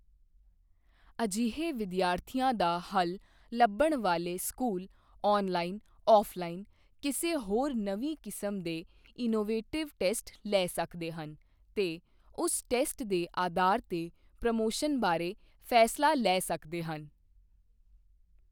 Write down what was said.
ਅਜਿਹੇ ਵਿਦਿਆਰਥੀਆਂ ਦਾ ਹੱਲ ਲੱਭਣ ਵਾਲੇ ਸਕੂਲ ਔਨਲਾਈਨ ਔਫ਼ਲਾਈਨ ਕਿਸੇ ਹੋਰ ਨਵੀਂ ਕਿਸਮ ਦੇ ਇਨੋਵੇਟਿਵ ਟੈਸਟ ਲੈ ਸਕਦੇ ਹਨ ਤੇ ਉਸ ਟੈਸਟ ਦੇ ਆਧਾਰ ਤੇ ਪ੍ਰੋਮੋਸ਼ਨ ਬਾਰੇ ਫ਼ੈਸਲਾ ਲੈ ਸਕਦੇ ਹਨ।